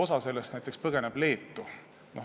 Osa põgeneb näiteks Leetu.